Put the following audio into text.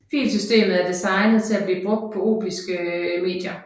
Filsystemet er designet til at blive brugt på optiske medier